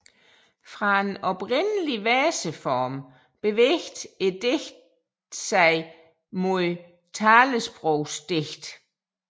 Fra en oprindelig verseform bevægede digtene sig mod talesprogsdigte